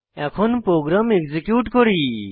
এখন program execute করুন